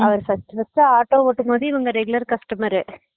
அவர் first first ஏ auto ஓட்டும் போது இவங்க regular customer